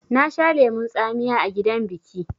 Na sha lemon tsamiya a gidan biƙi